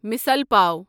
مثِال پاو